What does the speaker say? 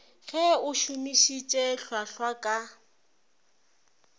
ge o šomišitše hlwahlwa ka